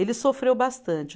Ele sofreu bastante.